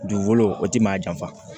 Dugukolo o ti maa janfa